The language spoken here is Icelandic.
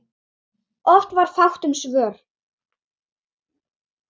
Oft var fátt um svör.